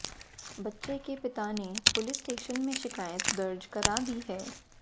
बच्चे के पिता ने पुलिस स्टेशन में शिकायत दर्ज करा दी है